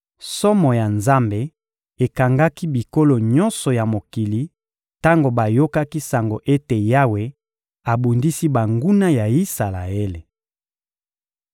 Somo ya Nzambe ekangaki bikolo nyonso ya mokili tango bayokaki sango ete Yawe abundisi banguna ya Isalaele.